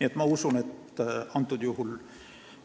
Nii et ma usun, et